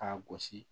K'a gosi